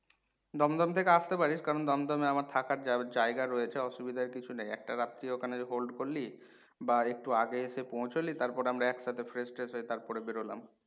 দমদম থেকে আস্তে পারিস কারণ দমদম এ আমার থাকার যা জায়গা রয়েছে অসুবিধার কিছু নেই, একটা রাত্রি ওখানে hold করলি বা একটু আগে এসে পৌঁছলি তারপরে আমরা একসাথে fresh ট্রেস হয়ে তারপরে বেরলাম।